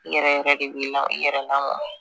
I yɛrɛ yɛrɛ de bi na i yɛrɛ lamɔ